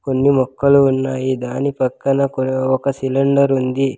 కొన్ని మొక్కలు ఉన్నాయి దాని పక్కన కూడా ఒక సిలిండర్ ఉంది.